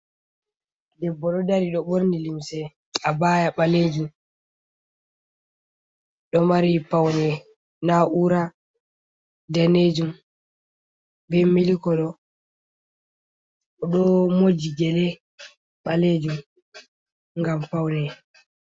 Debbo ɗo dari ɗo ɓorni limse abaya ɓalejum ɗo mari paune na ura danejum ɓe mili kolo oɗo moji gele ɓalejum ngam paune.